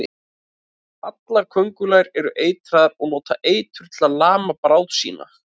Allar köngulær eru eitraðar og nota eitur til að lama bráð sína.